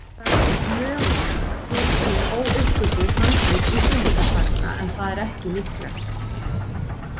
Það er mögulegt að til séu óuppgötvuð handrit Íslendingasagna en það er ekki líklegt.